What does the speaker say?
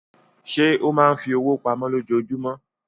Ṣé ó máa fi owó pamọ́ lójoojúmọ́?